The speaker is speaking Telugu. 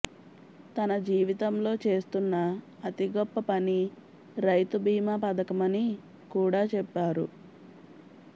తన జీవితంలో చేస్తున్న అతి గొప్ప పని రైతుబీమా పథకమని కూడా చెప్పారు